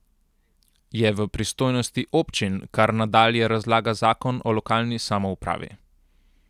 Je v pristojnosti občin, kar nadalje nalaga zakon o lokalni samoupravi.